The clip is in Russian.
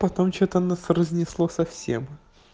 потом что-то нас разнесло совсем